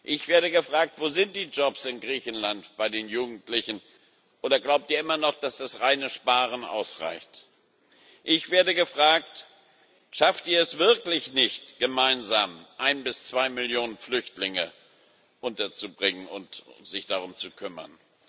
Ich werde gefragt Wo sind die Jobs in Griechenland bei den Jugendlichen, oder glaubt ihr immer noch, dass das reine Sparen ausreicht? Ich werde gefragt Schafft ihr es wirklich nicht gemeinsam, ein bis zwei Millionen Flüchtlinge unterzubringen und euch darum zu kümmern?